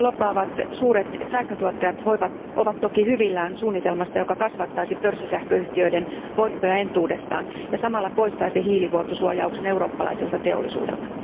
Ahkerasti lobbaavat suuret sähköntuottajat ovat hyvillään suunnitelmasta, joka kasvattaisi pörssisähköyhtiöiden voittoja entuudestaan ja samalla poistaisi hiilivuotosuojauksen eurooppalaiselta teollisuudelta.